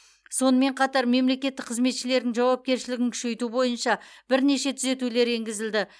сонымен қатар мемлекеттік қызметшілердің жауапкершілігін күшейту бойынша бірнеше түзетулер енгізілді